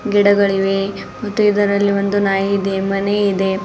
ಗಿಡಗಳಿವೆ ಮತ್ತು ಇದರಲ್ಲಿ ಒಂದು ನಾಯಿ ಇದೆ ಮನೆ ಇದೆ.